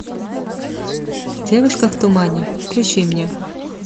девушка в тумане включи мне